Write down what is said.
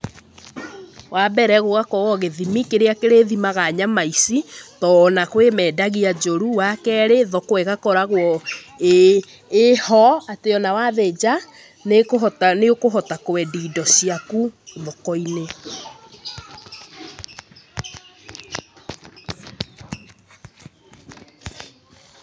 Wa mbere gũgakorwo gĩthimi kĩrĩa kĩrĩthimaga nyama ici, tondũ kurĩ mendagia njũru. Wa kerĩ thoko ĩgakoragwo ĩĩ ho atĩ ona wathĩnja nĩũkũhota kwendia indo ciaku thoko-inĩ.